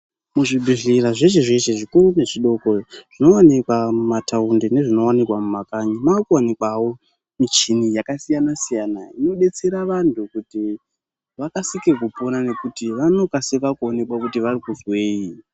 Muzvibhehlera zveshe zveshe zvikuru nezvidoko, zvinoonekwa mumataundi nezvinoonekwa mumakanyi makuonekwawo michini yakasiyana siyana inodetsera vantu kuti vakasike kupona nekuti vanokasika kuoneka kuti vari kuzwei.